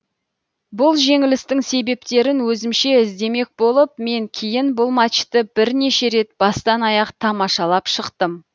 бұл жеңілістің себептерін өзімше іздемек болып мен кейін бұл матчты бірнеше рет бастан аяқ тамашалап шықтым